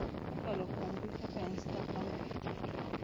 Kokalo kuom mbui kaka Instagram kod TikTok,